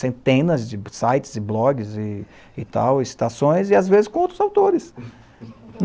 Centenas de sites e blogs e e tal, citações, e às vezes com outros autores.